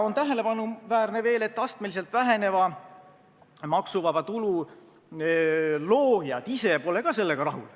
Tähelepanuväärne on veel see, et astmeliselt väheneva maksuvaba tulu loojad ise pole ka sellega rahul.